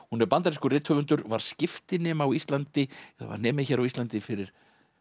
hún er bandarískur rithöfundur var skiptinemi á Íslandi var nemi hér á Íslandi fyrir